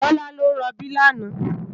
Tola ló n ròbí làná